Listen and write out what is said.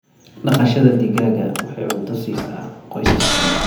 Dhaqashada digaaga waxay cunto siisaa qoysas badan.